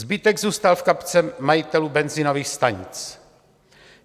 Zbytek zůstal v kapse majitelů benzinových stanic.